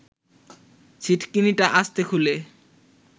ছিটকিনিটা আস্তে খুলে